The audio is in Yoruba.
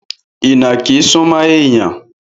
Ìnàkí súmọ́ èèyàn